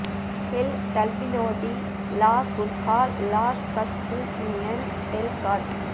kill எல் டர்பல்பினோ டி லா குர்ராஹ் லா லா கஸ்பூசியன் டெல் காட்